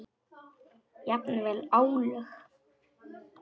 Jafnvel álög.